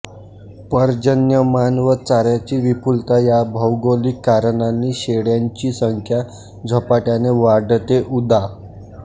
पर्जन्यमान व चाऱ्याची विपुलता या भौगोलिक कारणांनी शेळ्यांची संख्या झपाटयाने वाढते उदा